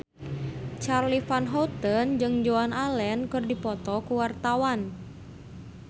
Charly Van Houten jeung Joan Allen keur dipoto ku wartawan